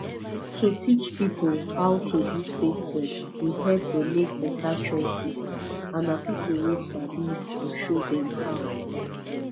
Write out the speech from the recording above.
to teach people how to do safe sex dey help dem make better choices and na people wey sabi go show dem how